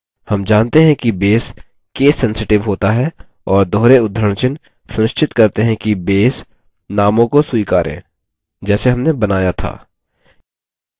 names जानते हैं कि base case sensitive होता है और दोहरे उद्धरणचिह्न सुनिश्चित करते हैं कि base नामों को स्वीकारे जैसे हमने बनाया था